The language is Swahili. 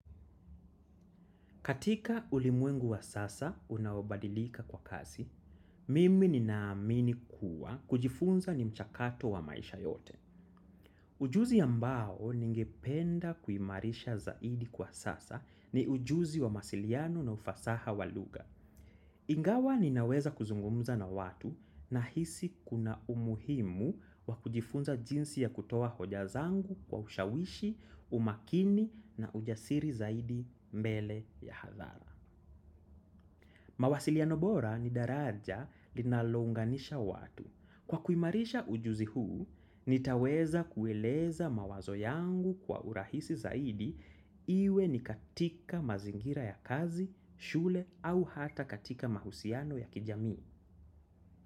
Katika ulimwengu wa sasa unaobadilika kwa kasi, mimi ninaamini kuwa kujifunza ni mchakato wa maisha yote. Ujuzi ambao ningependa kuimarisha zaidi kwa sasa ni ujuzi wa mawasiliano na ufasaha wa lugha. Ingawa ninaweza kuzungumza na watu nahisi kuna umuhimu wa kujifunza jinsi ya kutoa hoja zangu kwa ushawishi, umakini na ujasiri zaidi mbele ya hadhara. Mawasiliano bora ni daraja linalounganisha watu. Kwa kuimarisha ujuzi huu, nitaweza kueleza mawazo yangu kwa urahisi zaidi iwe ni katika mazingira ya kazi, shule au hata katika mahusiano ya kijamii.